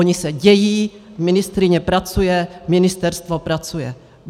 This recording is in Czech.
Ony se dějí, ministryně pracuje, ministerstvo pracuje.